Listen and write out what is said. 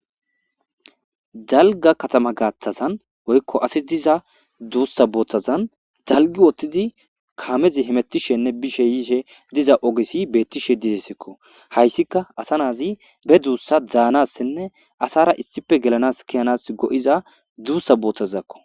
Dalga katama gaaththazan woykko asi diza duussa bootazan dalgi utid kaamezi hemettishenne bishe yiishe diza ogesi bettishe didesekko hayssika asa naasi be duussa danasinne asara issipe gelanas ke'anas go'iza duussa bootazakko